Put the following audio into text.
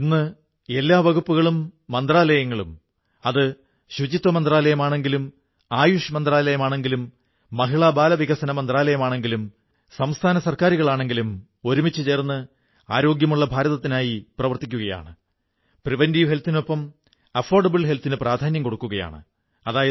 ഇന്ന് എല്ലാ വകുപ്പുകളും മന്ത്രാലയങ്ങളും അത് സ്വച്ഛതാ മന്ത്രാലയമാണെങ്കിലും ആയുഷ് മന്ത്രാലയമാണെങ്കിലും മഹിളാബാലവികസന മന്ത്രാലയമാണെങ്കിലും സംസ്ഥാന ഗവൺമെന്റുകളാണെങ്കിലും ഒരുമിച്ചു ചേർന്ന് സ്വസ്ഥഭാരതത്തിനായി ആരോഗ്യമുള്ള ഭാരതത്തിനായി പ്രവർത്തിക്കുകയാണ്